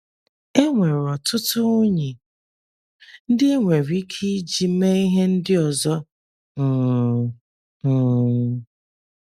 E nwere ọtụtụ unyí ndị e nwere ike iji mee ihe ndị ọzọ um. um